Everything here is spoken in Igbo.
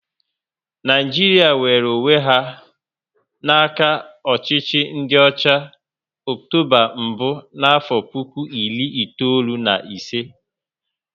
Naijiria nwere onwé ya n'aka ọchịchị ndị ọcha, Ọktoba mbụ n'afo puku iri itoolu na ịsị